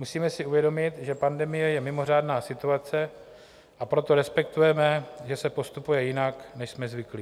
Musíme si uvědomit, že pandemie je mimořádná situace, a proto respektujeme, že se postupuje jinak, než jsme zvyklí.